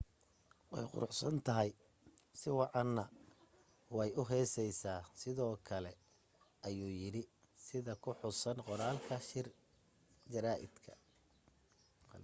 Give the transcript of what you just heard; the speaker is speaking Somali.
way quruxsantahay si wacanway u heesaysaa sidoo kale ayuu yidhi sida ku xusan qoraalka shir jaraaidka